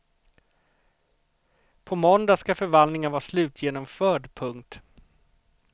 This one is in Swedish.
På måndag ska förvandlingen vara slutgenomförd. punkt